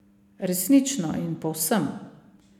Resnično in povsem.